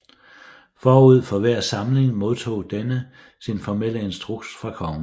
Forud for hver samling modtog denne sin formelle instruks fra kongen